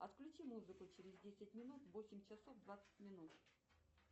отключи музыку через десять минут в восемь часов двадцать минут